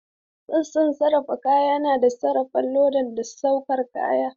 Sashen sarrafa kaya yana sarrafa lodi da sauke kaya.